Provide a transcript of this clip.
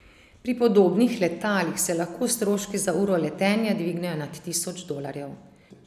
Pri podobnih letalih se lahko stroški za uro letenja dvignejo nad tisoč dolarjev.